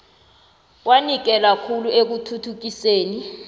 wanikela khulu ekuthuthukiseni